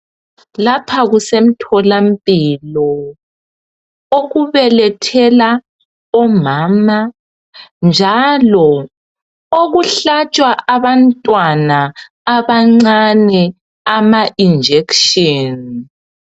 Lapha kusemtholampilo, okubelethela omama, njalo okuhlatshwa abantwana abancane ama injection.